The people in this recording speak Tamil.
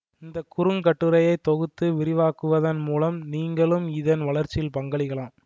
இந்த குறுங்கட்டுரையை தொகுத்து விரிவாக்குவதன் மூலம் நீங்களும் இதன் வளர்ச்சியில் பங்களிக்கலாம்